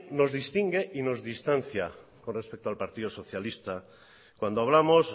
nos distingue y nos distancia con respecto al partido socialista cuando hablamos